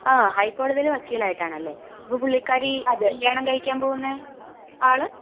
ങാ...ഹൈക്കോടതിയിലെ വക്കീൽ ആയിട്ടാണല്ലേ? അപ്പൊ പുള്ളിക്കാരി കല്യാണം കഴിക്കാൻ പോവുന്നെ ആള്?